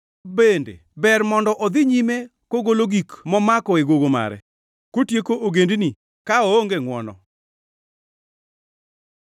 Bende ber mondo odhi nyime kogolo gik momako e gogo mare, kotieko ogendini ka oonge ngʼwono?